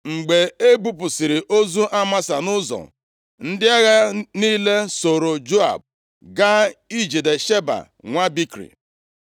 Mgbe e bupụsịrị ozu Amasa nʼụzọ, ndị agha niile sooro Joab gaa ijide Sheba, nwa Bikri.